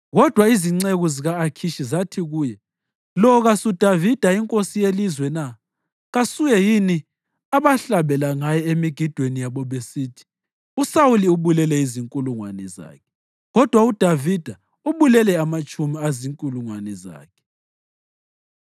Kodwa izinceku zika-Akhishi zathi kuye, “Lo kasuDavida inkosi yelizwe na? Kasuye yini abahlabela ngaye emigidweni yabo besithi: ‘USawuli ubulele izinkulungwane zakhe, kodwa uDavida ubulele amatshumi ezinkulungwane zakhe’?”